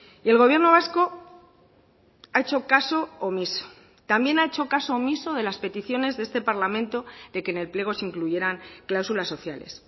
y el gobierno vasco ha hecho caso omiso también ha hecho caso omiso de las peticiones de este parlamento de que en el pliego se incluyeran cláusulas sociales